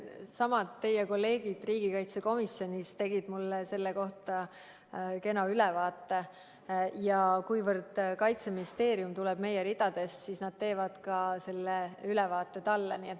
Samad kolleegid riigikaitsekomisjonis tegid mulle selle kohta kena ülevaate ja kuna Kaitseministeeriumi juht tuleb meie ridadest, siis nad teevad selle ülevaate ka talle.